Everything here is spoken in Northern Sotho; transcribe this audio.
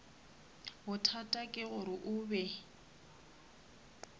bothata ke gore o be